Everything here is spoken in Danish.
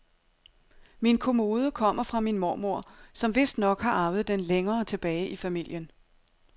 Min kommode kommer fra min mormor, som vistnok har arvet den længere tilbage i familien.